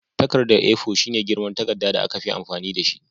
Takarda A4 shine girman takarda da aka fi amfani dashi